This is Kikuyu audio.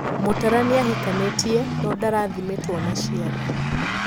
Mutara niahikanitie noo ndarathimitwo na ciana.